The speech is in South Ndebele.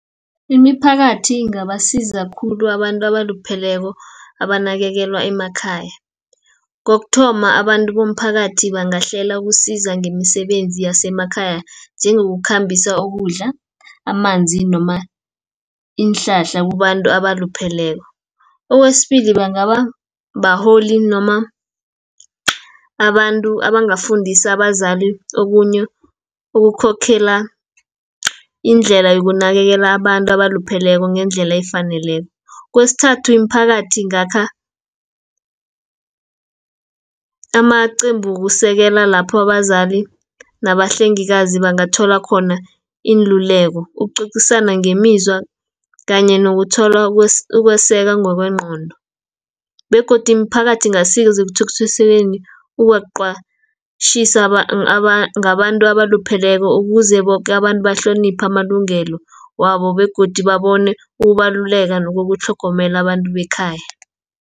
Imiphakathi ingabasiza khulu abantu abalupheleko, abanakekelwa emakhaya. Kokuthoma abantu bomphakathi bangahlela ukusiza ngemisebenzi yasemakhaya, njengokukhambisa ukudla, amanzi, noma iinhlahla kubantu abalupheleko. Okwesibili bangaba baholi noma abantu abangafundisa abazali okunye ukukhokhela indlela yokunakekela abantu abalupheleko ngendlela efaneleko. Kwesithathu imiphakathi ingakha amaqembu wokusekela lapho abazali, nabahlengikazi bangathola khona iinluleko, ukucocisana ngemizwa, kanye nokuthola ukweseka ngokwengcondo, begodu imiphakathi ingasiza ekuthuthukiseni ngabantu abalupheleko, ukuze boke abantu bahloniphe amalungelo wabo, begodu babone ukubaluleka nokutlhogomela abantu bekhaya.